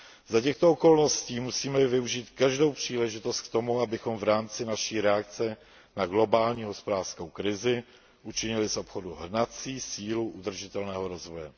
Za těchto okolností musíme využít každou příležitost k tomu, abychom v rámci naší reakce na globální hospodářskou krizi učinili z obchodu hnací sílu udržitelného rozvoje.